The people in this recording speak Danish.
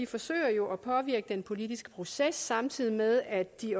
forsøger jo at påvirke den politiske proces samtidig med at de